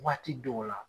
Waati dɔw la